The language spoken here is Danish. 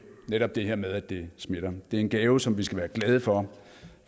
netop det her med at det smitter det er en gave som vi skal være glade for